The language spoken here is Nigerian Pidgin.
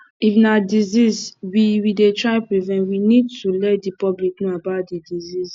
if na disease we we dey try prevent we need to let di public know about di disease